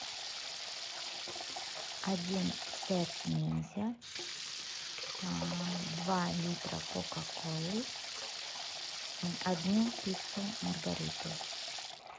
один сет ниндзя два литра кока колы одну пиццу маргариту